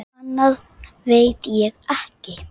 Annað veit ég ekki.